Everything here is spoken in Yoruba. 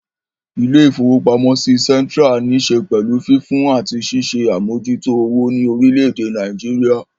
Ilé-ìfowópamọ́sí Central ní ṣe pẹ̀lú fífún àti ṣíṣe àmójútó owó ní orílé èdè Nàìjíríà